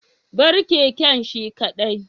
bar keken shi kadai